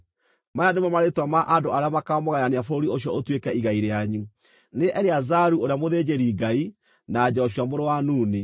“Maya nĩmo marĩĩtwa ma andũ arĩa makaamũgayania bũrũri ũcio ũtuĩke igai rĩanyu: nĩ Eleazaru ũrĩa mũthĩnjĩri-Ngai na Joshua mũrũ wa Nuni.